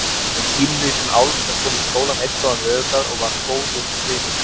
Um pínulítinn álf sem kom í skólann einn góðan veðurdag og varð góður vinur krakkanna.